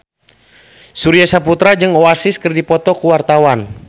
Surya Saputra jeung Oasis keur dipoto ku wartawan